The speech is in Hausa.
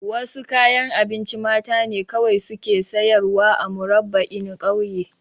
Wasu kayan abinci mata ne kawai suke sayarwa a Murabba'in ƙauye